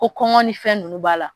Ko kɔngɔ ni fɛn ninnu b'a la